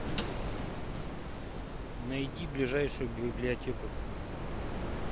найди ближайшую библиотеку